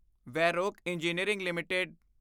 Varroc engineering LTD